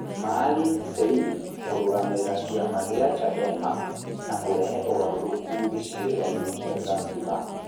Maalim Seif kũrũgamĩrĩra kiama gia Chadema na kũrehe ũgarũrũku gĩcigĩrĩrainĩ kĩa Zanzibar?